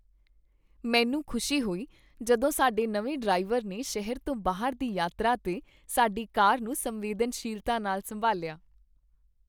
ਮੈਨੂੰ ਖੁਸ਼ੀ ਹੋਈ ਜਦੋਂ ਸਾਡੇ ਨਵੇਂ ਡਰਾਈਵਰ ਨੇ ਸ਼ਹਿਰ ਤੋਂ ਬਾਹਰ ਦੀ ਯਾਤਰਾ 'ਤੇ ਸਾਡੀ ਕਾਰ ਨੂੰ ਸੰਵੇਦਨਸ਼ੀਲਤਾ ਨਾਲ ਸੰਭਾਲਿਆ।